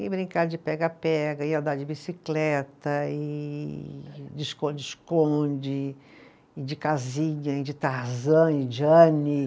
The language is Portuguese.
E brincar de pega-pega, ia andar de bicicleta e, de esconde-esconde, e de casinha, e de Tarzan e Jane.